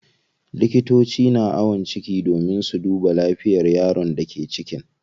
Likitoci na ayon ciki domin su duba lafiyar yaron da ke ciki.